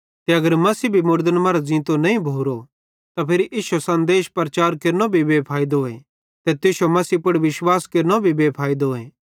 ते अगर मसीह भी मुड़दन मरां ज़ींतो नईं भोरो त फिरी इश्शो सन्देश प्रचार केरनो भी बे फैइदोए ते तुश्शो मसीह पुड़ विश्वास केरनो भी बे फैइदोए